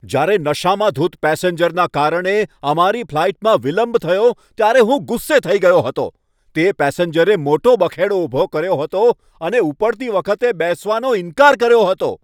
જ્યારે નશામાં ધૂત પેસેન્જરના કારણે અમારી ફ્લાઈટમાં વિલંબ થયો ત્યારે હું ગુસ્સે થઈ ગયો હતો. તે પેસેન્જરે મોટો બખેડો ઊભો કર્યો હતો અને ઉપડતી વખતે બેસવાનો ઈનકાર કર્યો હતો.